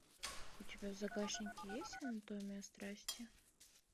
у тебя в загашнике есть анатомия страсти